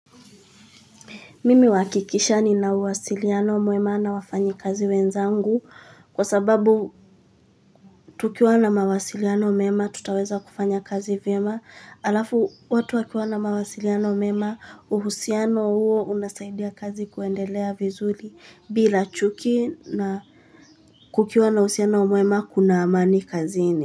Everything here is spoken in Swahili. Mimi huhakikisha nina uwasiliano mema na wafanyakazi wenzangu kwa sababu tukiwa na mawasiliano mema tutaweza kufanya kazi vyema halafu watu wakiwa na mawasiliano mema uhusiano huo unasaidia kazi kuendelea vizuri bila chuki na kukiwa na uhusiano mwema kuna amani kazini.